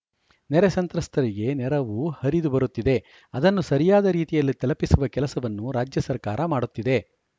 ನೆರೆ ಸಂತ್ರಸ್ತರಿಗೆ ನೆರವು ಹರಿದು ಬರುತ್ತಿದೆ ಅದನ್ನು ಸರಿಯಾದ ರೀತಿಯಲ್ಲಿ ತಲಪಿಸುವ ಕೆಲಸವನ್ನು ರಾಜ್ಯ ಸರ್ಕಾರ ಮಾಡುತ್ತಿದೆ